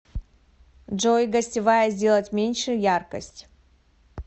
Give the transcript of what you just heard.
джой гостевая сделать меньше яркость